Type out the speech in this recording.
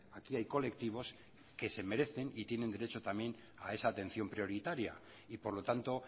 aquí hay colectivos que se merecen y tienen derecho también a esa atención prioritaria y por lo tanto